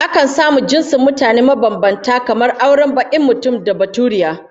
Akan samu auren jinsin mutane mabambanta kamar auren bakin mutum da baturiya